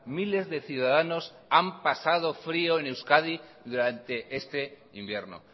miles de ciudadanos han pasado frio en euskadi durante este invierno